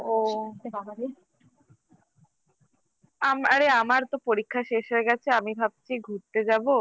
ও বাবা রে আরে আমার তো পরীক্ষা শেষ হয়ে গেছে আমি ভাবছি ঘুরতে যাবো